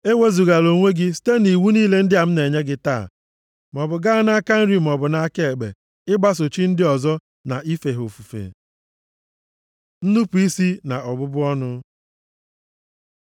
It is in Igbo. Ewezugala onwe gị site nʼiwu niile ndị a m na-enye gị taa, maọbụ gaa nʼaka nri maọbụ nʼaka ekpe, ịgbaso chi ndị ọzọ na ife ha ofufe. Nnupu isi na ọbụbụ ọnụ